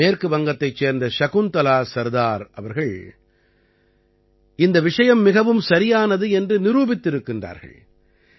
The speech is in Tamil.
மேற்கு வங்கத்தைச் சேர்ந்த சகுந்தலா சர்தார் அவ்ர்கள் இந்த விஷயம் மிகவும் சரியானது என்று நிரூபித்திருக்கிறார்கள்